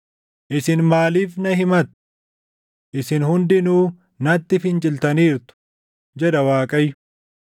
“Isin maaliif na himattu? Isin hundinuu natti finciltaniirtu” jedha Waaqayyo.